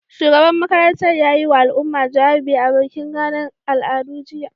Shugaban makarantar ya yiwa al'umma jawabi a bikin ranar al'adu, jiya.